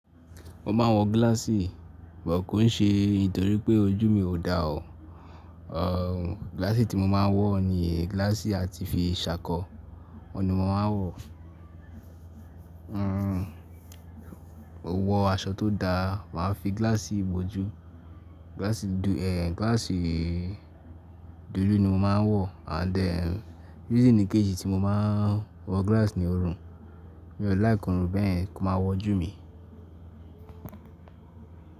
Mo máa wọ gíláàsì, bọ̀ kò ń ṣe nítorí pé ojú mi ò dáa. À, gíláàsì tí mo máa ń wọ ni gíláàsì a ti fi ṣàkọ, ọ̀nì mo máa ń wọ. Mmm, wọ aṣọ tó dáa, màá fi gíláàsì bojú, gíláàsì dú, ehen, gíláàsì dúdú ni mo máa ń wọ and then reason ni kejì tí mo máa ń wọ gíláàsì ni òrun, mi ò láìkọ́ òrùn bẹ́ẹ̀yen kí ó má wọ jú mi.